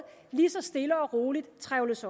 lige så stille og roligt trevles